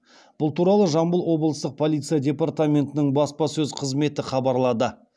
бұл туралы жамбыл облыстық полиция департаментінің баспасөз қызметі хабарлады